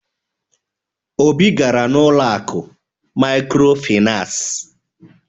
Obi gara n'ụlọ akụ mikrofinas..